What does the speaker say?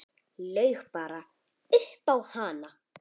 Laug bara upp á hann.